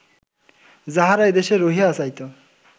যাহারা এদেশে রহিয়া যাইত